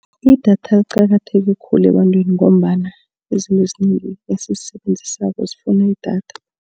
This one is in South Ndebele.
Idatha liqakatheke khulu ebantwini ngombana izinto ezinengi esizisebenzisako zifuna idatha.